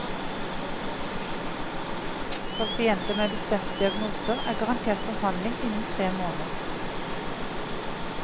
Pasienter med bestemte diagnoser er garantert behandling innen tre måneder.